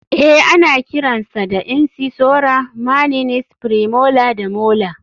Eh ana kiran sa da incisora maninies, premolar da molar.